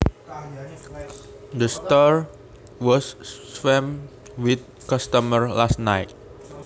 The store was swamped with customers last night